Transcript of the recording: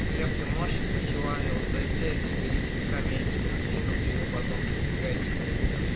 глеб ты можешь сначала зайти тебе есть камейкино скину ты ему потом десять к эти переведёшь